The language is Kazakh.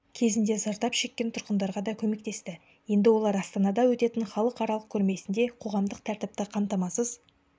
кезінде зардап шеккен тұрғындарға да көмектесті енді олар астанада өтетін халықаралық көрмесінде қоғамдық тәртіпті қамтамасыз